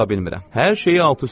Hər şeyi alt-üst eləyir.